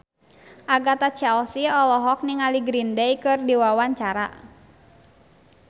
Agatha Chelsea olohok ningali Green Day keur diwawancara